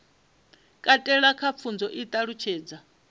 katela kha pfunzo i ṱalutshedza